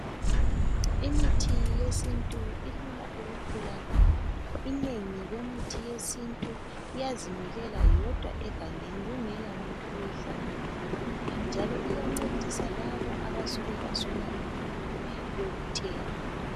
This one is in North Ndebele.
Imithi yesintu ilula ukutholakala inengi lemithi yesintu iyazimilela yodwa egangeni kungela muntu oyihlanyelileyo njalo iyancedisa labo abasuke baswela imali yokuthenga.